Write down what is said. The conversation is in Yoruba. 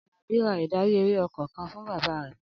Alabi ra ìdarí-eré ọkọ̀ kan fún bàbá mi.